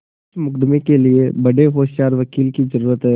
इस मुकदमें के लिए बड़े होशियार वकील की जरुरत है